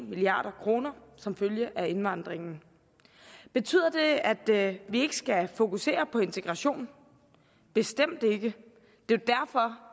milliard kroner som følge af indvandringen betyder det at vi ikke skal fokusere på integration bestemt ikke det